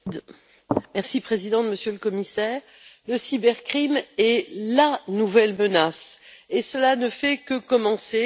Madame la Présidente, Monsieur le Commissaire, la cybercriminalité est la nouvelle menace, et cela ne fait que commencer.